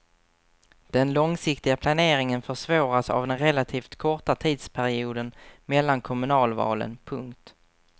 Den långsiktiga planeringen försvåras av den relativt korta tidsperioden mellan kommunalvalen. punkt